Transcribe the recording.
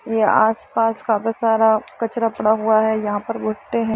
य आस-पास काफी सारा कचरा पड़ा हुआ है। यहाँ पर भुट्टें हैं।